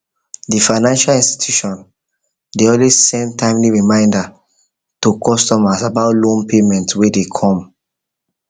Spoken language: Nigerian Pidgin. the financial institution dey always send timely reminder to customers about loan payment wey dey come